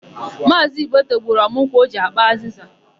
Maazị Ibeto gbuturu ọmụ nkwụ o ji ákpà azịza.